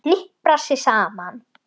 Hniprar sig saman.